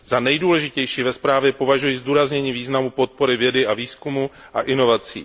Za nejdůležitější ve zprávě považuji zdůraznění významu podpory vědy a výzkumu a inovací.